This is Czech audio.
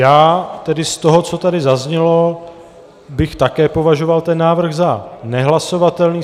Já tedy z toho, co tady zaznělo, bych také považoval ten návrh za nehlasovatelný.